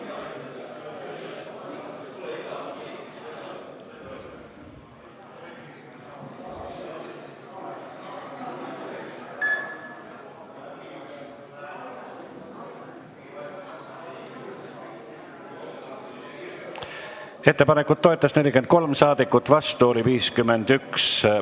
Hääletustulemused Ettepanekut toetas 43 ja vastu oli 51 saadikut.